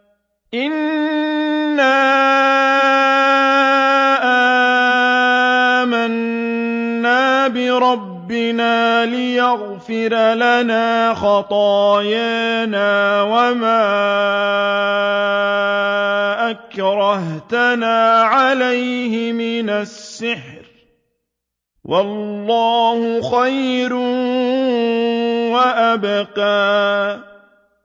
إِنَّا آمَنَّا بِرَبِّنَا لِيَغْفِرَ لَنَا خَطَايَانَا وَمَا أَكْرَهْتَنَا عَلَيْهِ مِنَ السِّحْرِ ۗ وَاللَّهُ خَيْرٌ وَأَبْقَىٰ